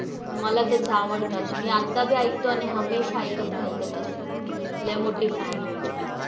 मला त्याची आवडतात. मी आत्ता बी ऐकते हमेशा ऐकत राहील. त्याचे song लय मोठी fan आहे. त्याची मी तर